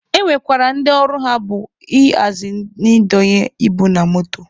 E nwekwara ndị ọlụ ha bụ ị hazi na ị donye ibu na moto.